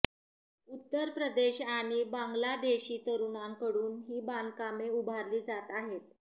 उत्तर प्रदेश आणि बांगलादेशी तरुणांकडून ही बांधकामे उभारली जात आहेत